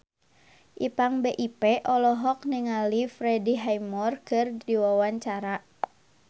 Ipank BIP olohok ningali Freddie Highmore keur diwawancara